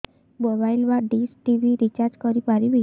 mobile ବା dish TV recharge କରି ପାରିବି